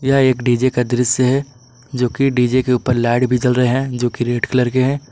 यह एक डी_जे का दृश्य है जो कि डी_जे के ऊपर लाइट भी जल रहे हैं जो कि रेड कलर के हैं।